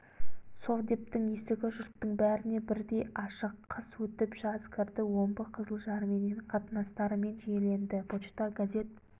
совдептің есігі жұрттың бәріне бірдей ашық қыс өтіп жаз кірді омбы қызылжарменен қатынастарымыз жиіленді почта газет